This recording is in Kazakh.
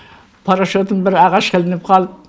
парашютім бір ағашқа ілініп қалып